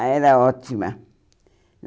Ah, era ótima.